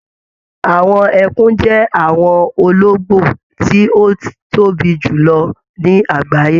Àwọn ẹkùn jẹ àwọn olongbo ti o tóbi jùlọ ní àgbáyé.